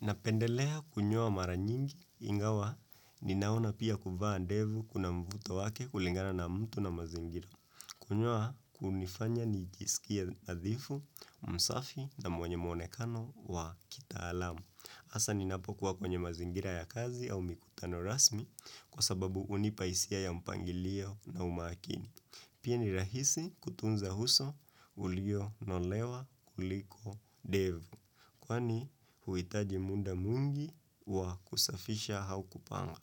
Napendelea kunyoa mara nyingi ingawa ninaona pia kuvaa ndevu kuna mvuto wake kulingana na mtu na mazingira. Kunyoa kunifanya nijisikie nadhifu, msafi na mwanye mwonekano wa kitaalamu. Hasa ninapokuwa kwenye mazingira ya kazi au mikutano rasmi kwa sababu hunipa hisia ya mpangilio na umakini. Pia ni rahisi kutunza uso ulionolewa kuliko ndevu kwani huitaji muda mwingi wa kusafisha au kupanga.